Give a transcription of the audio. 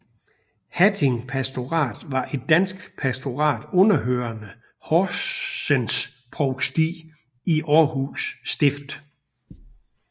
Hatting Pastorat var et dansk pastorat underhørende Horsens Provsti i Aarhus Stift